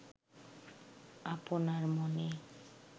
আপনার মনে